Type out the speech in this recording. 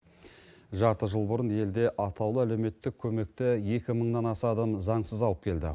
жарты жыл бұрын елде атаулы әлеуметтік көмекті екі мыңнан аса адам заңсыз алып келді